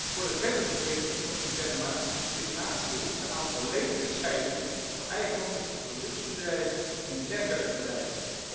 Voor een verdere verbetering van de interne markt is daarnaast behoefte aan volledige scheiding van eigendom tussen de productiebedrijven en de netwerkbedrijven.